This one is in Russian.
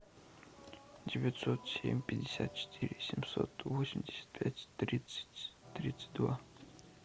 девятьсот семь пятьдесят четыре семьсот восемьдесят пять тридцать тридцать два